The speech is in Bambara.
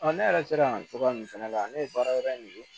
ne yɛrɛ sera yan cogoya min fana la ne ye baara wɛrɛ in ye